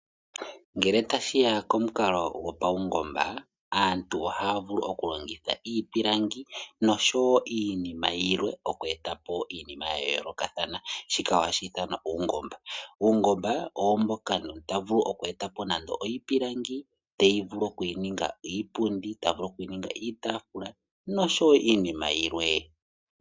Ngele tashiya komukalo gopaungomba aantu ohaya vulu oku longitha iipilangi oshowo iinima yilwe oku etapo iinima yayolokathana. Shika ohashi ithanwa uungomba. Uungomba owo mboka omuntu ta vulu nande oku eta po nande oshipilangi tavulu oku ninga iipundi, ta vulu oku ninga iitafula noshowo iinima yilwe.